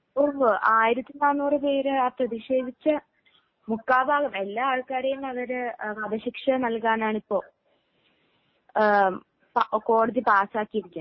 ഉവ്വ് ആയിരത്തി നാനൂറു പേര് പ്രതിഷേധിച്ച മുക്കാൽ ഭാഗം എല്ലാ ആൾക്കാരെയും അവര് വധശിക്ഷ നൽകാനാണ് ഇപ്പൊ കോടതി പാസ്സാക്കിയിരിക്കുന്നത്